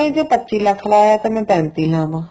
ਇਸ ਚ ਪੱਚੀ ਲੱਖ ਲਾਇਆ ਤਾਂ ਮੈਂ ਪੇੰਤੀ ਲਾਵਾ